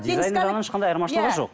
дизайн жағынан ешқандай айырмашылығы жоқ